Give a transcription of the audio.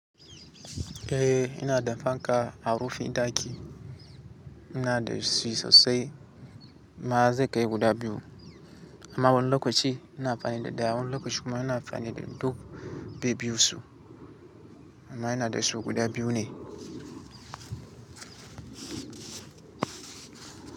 Eh ina da fanka a rufin ɗaki eh inda da Ac sosai. Ma zai kai guda biyu amma wani lokaci ina amfani da ɗaya wani lokaci kuma ina amfani da duk bai biyu su amma ina da su guda biyu ne.